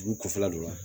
Dugu kɔfɛla don wa